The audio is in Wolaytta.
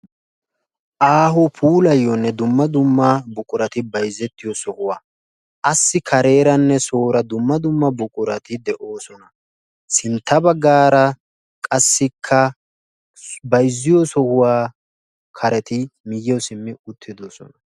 aaho puulayiyoonne dumma dumma buquratti bayzzettiyoo sohuwaa. Assi kareeranne soorra dumma dumma buquratti de'oosona. Sintta baggaara qassikka bayzziyoo sohuwaa karetti miyiyawu siimmi uttidoosona.